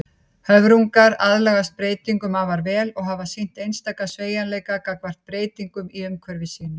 Höfrungar aðlagast breytingum afar vel og hafa sýnt einstakan sveigjanleika gagnvart breytingum í umhverfi sínu.